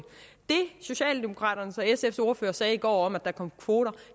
socialdemokraternes og sfs ordførere sagde i går om at der kommer kvoter